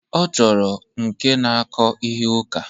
Ọ chọkwara nke na-akọ ihe ụka.